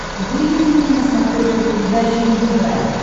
выведи мне на смотрешке передачу нтв